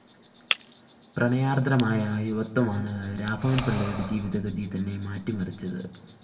പ്രണയാര്‍ദ്രമായ യുവത്വമാണ് രാഘവന്‍പിള്ളയുടെ ജീവിതഗതി തന്നെ മാറ്റിമറിച്ചത്